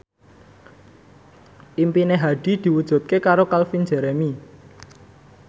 impine Hadi diwujudke karo Calvin Jeremy